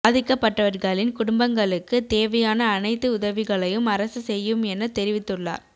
பாதிக்கப்பட்டவர்களின் குடும்பங்களுக்கு தேவையான அனைத்து உதவிகளையும் அரசு செய்யும் என தெரிவித்துள்ளார்